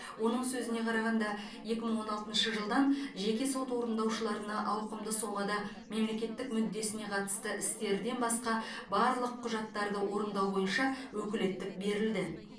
оның сөзіне қарағанда екі мың он алтыншы жылдан жеке сот орындаушыларына ауқымды сомада мемлекеттік мүддесіне қатысты істерден басқа барлық құжаттарды орындау бойынша өкілеттік берілді